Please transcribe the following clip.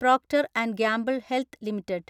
Procter and Gamble Health limited